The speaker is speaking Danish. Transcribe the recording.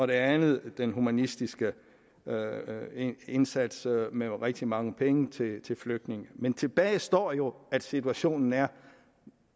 det andet er den humanistiske indsats med rigtig mange penge til til flygtninge men tilbage står jo at situationen er